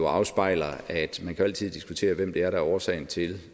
afspejler at man jo altid kan diskutere hvem det er der er årsagen til